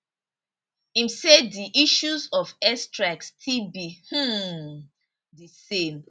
im say di issue of airstrike still be um same